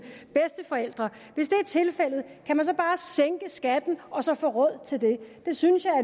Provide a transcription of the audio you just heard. bedsteforældre kan man så bare sænke skatten og så få råd til det det synes jeg er